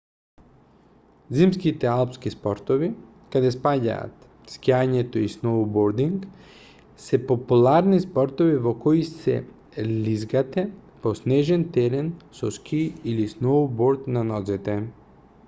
зимските алпски спортови каде спаѓаат скијање и сноубординг се популарни спортови во кои се лизгате по снежен терен со скии или сноуборд на нозете